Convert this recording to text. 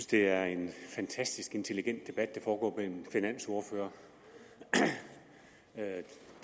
det er en fantastisk intelligent debat der foregår mellem finansordførere man